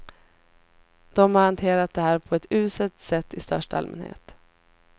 De har hanterat det här på ett uselt sätt i största allmänhet.